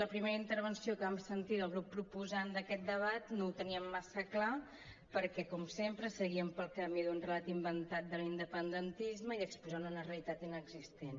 la primera intervenció que vam sentir del grup proposant d’aquest debat no ho teníem massa clar perquè com sempre seguien pel camí d’un relat inventat de l’independentisme i exposaven una realitat inexistent